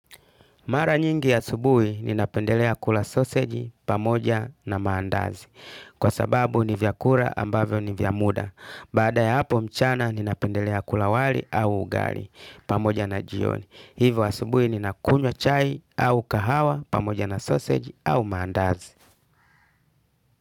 Mara nyingi asubuhi ninapendelea kula soseji pamoja na maandazi. Kwa sababu ni vyakula ambavyo ni vya muda. Baada ya hapo mchana ninapendelea kula wali au ugali pamoja na jioni. Hivyo asubuhi ninakunywa chai au kahawa pamoja na soseji au maandazi.